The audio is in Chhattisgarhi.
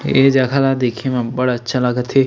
ए जगह ला देखे म बड़ अच्छा लगत हे।